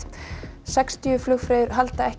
sextíu flugfreyjur halda ekki